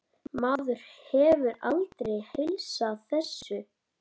Maður hefur aldrei heilsað þessu.